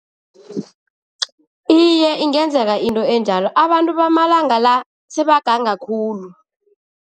Iye, ingenzeka into enjalo. Abantu bamalanga la sebaganga khulu.